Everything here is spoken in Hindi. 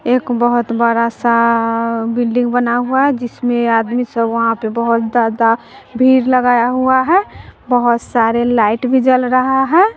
एक बहोत बड़ा सा बिल्डिंग बना हुआ जिसमें आदमी सब वहां पे बहोत ज्यादा भीड़ लगाया हुआ है बहोत सारे लाइट भी जल रहा है।